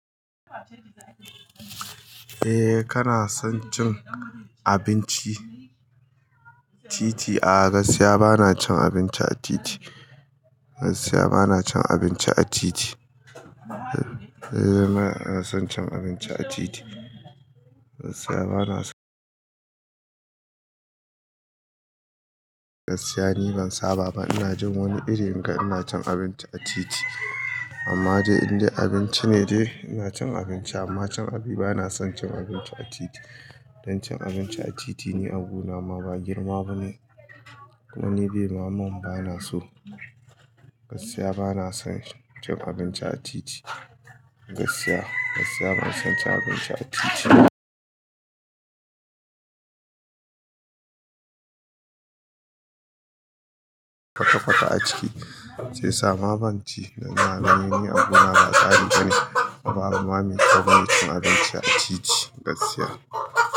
Eh kana son cin abinci? Titi a gaskiya bana cin abinci a titi. Gaskiya bana cin abinci a titi. Eee, bana son cin abinci a titi. Gaskiya bana so. Gaskiya ni ban saba ba, ina jin wani iri in ga ina cin abinci a titi. Amma dai in dai abinci ne dai ina cin abinci amma ba na son cin abinci a titi. Dan cin abinci a titi ne abu na ma ba girma bane. Kuma ni dai mamman bana so. Gaskiya bana son cin abinci a titi. Gaskiya, gaskiya ban son cin abinci a titi. Fatafata a ciki sai sama ban ci dan na, na yi ne abu na matsali bane. Baba mammi kawai su na cin abinci a titi gaskiya.